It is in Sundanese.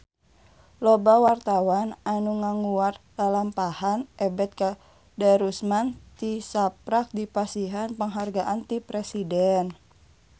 Loba wartawan anu ngaguar lalampahan Ebet Kadarusman tisaprak dipasihan panghargaan ti Presiden